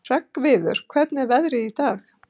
Hreggviður, hvernig er veðrið í dag?